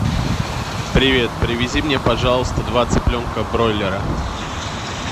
привет привези мне пожалуйста два цыпленка бройлера